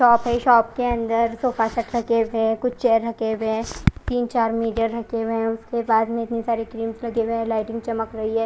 Shop है shop के अंदर सोफा सब रखे हुए है कुछ चेयर रखे हुए है तीन चार मिडर रखे हुए है उसके पास में इतनी सारी लगे हुए है लायटिंग चमक रही है।